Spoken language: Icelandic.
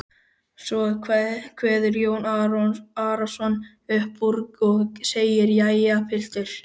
Svo kveður Jón Arason upp úr og segir: Jæja, piltar.